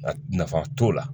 Nka nafa t'o la